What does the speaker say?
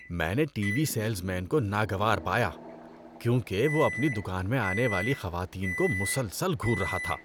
میں نے TV salesman کو ناگوار پایا کیونکہ وہ اپنی دکان میں آنے والی خواتین کو مسلسل گھور رہا تھا۔